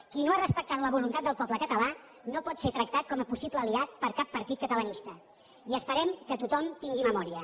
qui no ha respectat la voluntat del poble català no pot ser tractat com a possible aliat per cap partit catalanista i esperem que tothom tingui memòria